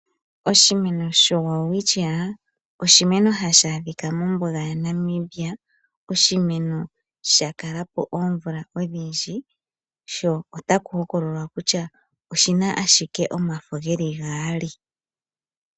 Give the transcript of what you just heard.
Oshimeno shoWelwitchia oshimeno hashi adhika mombuga yaNamibia oshimeno sha kalapo oomvula odhindji sho otaku hokololwa kutya oshina ashike omafo geli gaali.